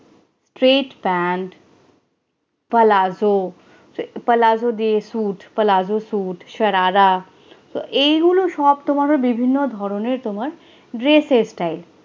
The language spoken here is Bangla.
straight pant palazzo palazo দিয়ে suit palazzo suit sharara এগুলো সব তোমার বিভিন্ন ধরনের তোমার dress এর, style